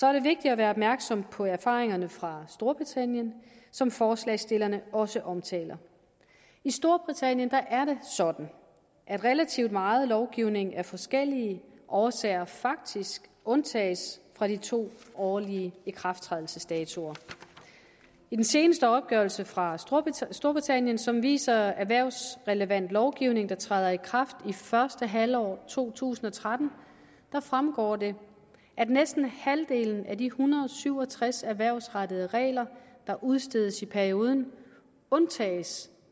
er det vigtigt at være opmærksom på erfaringerne fra storbritannien som forslagsstillerne også omtaler i storbritannien er det sådan at relativt meget lovgivning af forskellige årsager faktisk undtages fra de to årlige ikrafttrædelsesdatoer i den seneste opgørelse fra storbritannien som viser erhvervsrelevant lovgivning der træder i kraft i første halvår to tusind og tretten fremgår det at næsten halvdelen af de en hundrede og syv og tres erhvervsrettede regler der udstedes i perioden undtages